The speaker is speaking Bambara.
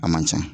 A man ca